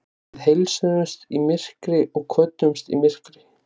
Við heilsuðumst í myrkri og kvöddumst í myrkri.